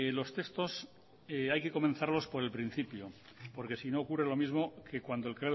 los textos hay que comenzarlos por el principio porque sino ocurre lo mismo que cuando el